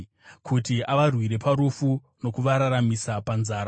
kuti avarwire parufu nokuvararamisa panzara.